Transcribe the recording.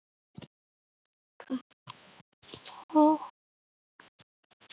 Ha, grín?